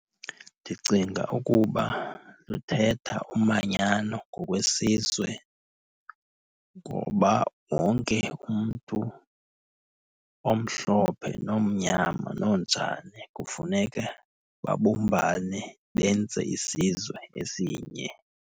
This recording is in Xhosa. Ndicinga ukuba luthetha umanyano ngokwesizwe. Ngoba wonke umntu omhlophe, nomnyama, nonjani kufuneka babumbane benze isizwe esinye.